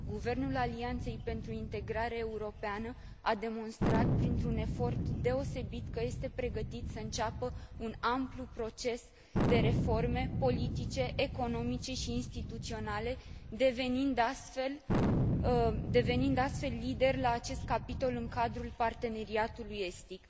Guvernul Alianței pentru Integrare Europeană a demonstrat, printr un efort deosebit, că este pregătit să înceapă un amplu proces de reforme politice, economice și instituționale, devenind astfel lider la acest capitol în cadrul Parteneriatului Estic.